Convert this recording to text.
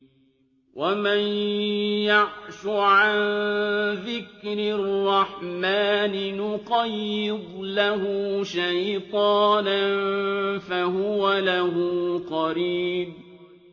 وَمَن يَعْشُ عَن ذِكْرِ الرَّحْمَٰنِ نُقَيِّضْ لَهُ شَيْطَانًا فَهُوَ لَهُ قَرِينٌ